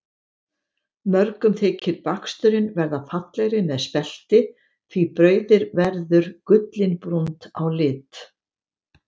Mörgum þykir baksturinn verða fallegri með spelti því brauðið verður gullinbrúnt á lit.